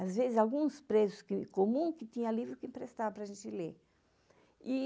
Às vezes, alguns presos comuns tinham livros que emprestavam para a gente ler.